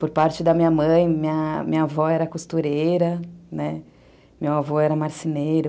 Por parte da minha mãe, minha minha avó era costureira, né, meu avô era marceneiro.